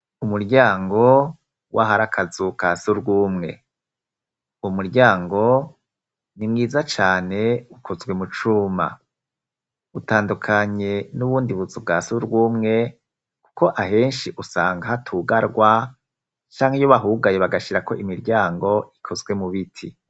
Umuryango w' ahari akazu ka surwumwe. Umuryango ni mwiza cane ukozwe mu cuma. Utandukanye n'ubundi buzubwa surwumwe kuko ahenshi usanga hatugarwa canke iyo bahugaye bagashira ko imiryango ikozwe mu biti.